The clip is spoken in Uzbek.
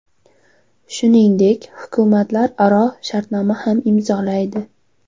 Shuningdek, hukumatlar o‘zaro shartnoma ham imzolaydi.